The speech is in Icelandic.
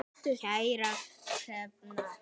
Kæra Hrefna.